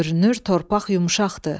Görünür torpaq yumşaqdır.